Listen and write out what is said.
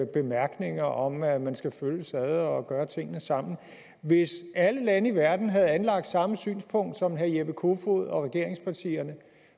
bemærkninger om at man skal følges ad og gøre tingene sammen hvis alle lande i verden havde anlagt samme synspunkt som herre jeppe kofod og regeringspartierne